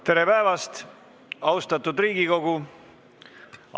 Tere päevast, austatud Riigikogu!